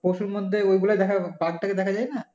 পশুর মধ্যে ওইগুলো দেখা যায় বাঘ টাঘ দেখা যায় না?